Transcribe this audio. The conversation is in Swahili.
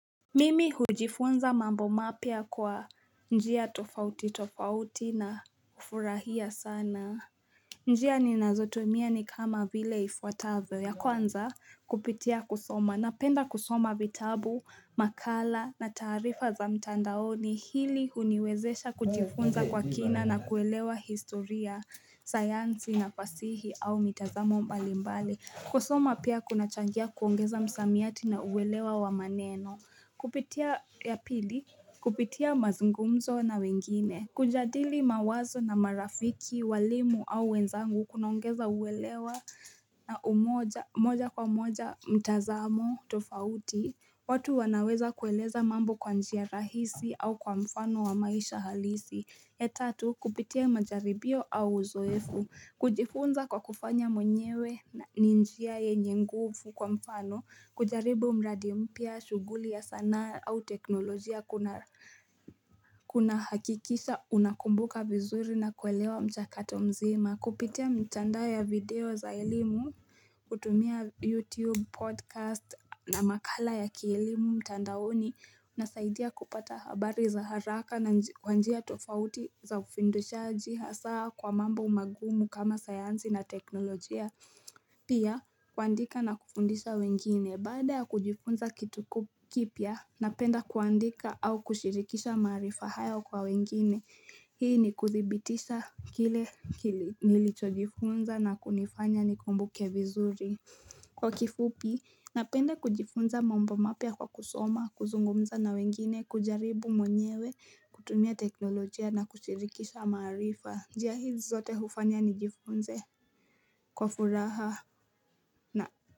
Mimi hujifunza mambo mapya kwa njia tofauti tofauti na hufurahia sana njia ninazotumia ni kama vile ifuatavyo ya kwanza kupitia kusoma napenda kusoma vitabu, makala na taarifa za mtandaoni hili huniwezesha kujifunza kwa kina na kuelewa historia, sayansi na fasihi au mitazamo mbalimbali kusoma pia kunachangia kuongeza msamiati na uwelewa wa maneno Kupitia ya pili, kupitia mazungumzo na wengine, kujadili mawazo na marafiki, walimu au wenzangu kunaongeza uwelewa na moja kwa moja mtazamo tofauti, watu wanaweza kueleza mambo kwa njia rahisi au kwa mfano wa maisha halisi. Ya tatu, kupitia majaribio au uzoefu. Kujifunza kwa kufanya mwenyewe na ni njia yenye nguvu kwa mfano. Kujaribu mradi mpya, shughuli ya sanaa au teknolojia kunahakikisha unakumbuka vizuri na kuelewa mchakato mzima. Nakupitia mitandao ya video za elimu, kutumia YouTube, podcast na makala ya kielimu mtandaoni unasaidia kupata habari za haraka na kwa njia tofauti za ufundishaji hasa kwa mambo magumu kama sayansi na teknolojia Pia, kuandika na kufundisha wengine Baada ya kujifunza kitu kipya, napenda kuandika au kushirikisha maarifa haya kwa wengine Hii ni kudhibitisha kile nilicho jifunza na kunifanya nikumbuke vizuri Kwa kifupi, napenda kujifunza mambo mapya kwa kusoma, kuzungumza na wengine, kujaribu mwenyewe, kutumia teknolojia na kushirikisha maarifa njia hizi zote hufanya nijifunze kwa furaha na.